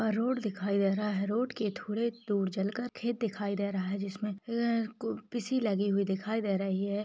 Road दिखाई दे रही है रोड के थोड़े दूर चल कर खेत दिखाई दे रही है जिसमे लगी हुई दिखाई दे रही है।